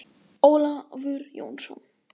Ólafur Jónsson.